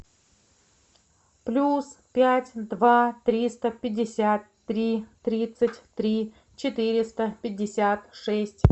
плюс пять два триста пятьдесят три тридцать три четыреста пятьдесят шесть